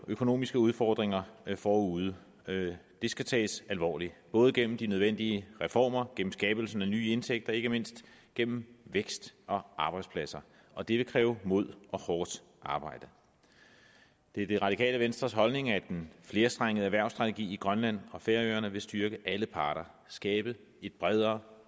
økonomiske udfordringer forude de skal tages alvorligt både gennem de nødvendige reformer gennem skabelsen af nye indtægter og ikke mindst gennem vækst og arbejdspladser og det vil kræve mod og hårdt arbejde det er det radikale venstres holdning at en flerstrenget erhvervsstrategi i grønland og færøerne vil styrke alle parter skabe et bredere